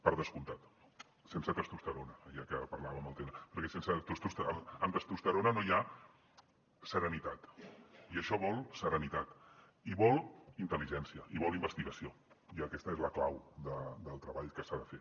per descomptat sense testosterona ja que parlàvem del tema perquè amb testosterona no hi ha serenitat i això vol serenitat i vol intel·ligència i vol investigació i aquesta és la clau del treball que s’ha de fer